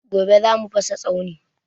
Gobe za mu fasa tsauni